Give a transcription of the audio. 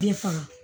Bɛɛ faga